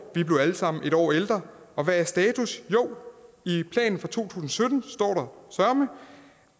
vi blev alle sammen et år ældre og hvad er status jo i planen fra to tusind og sytten står der søreme